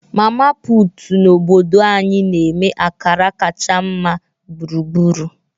Mama Put na obodo anyị na-eme akara kacha mma gburugburu.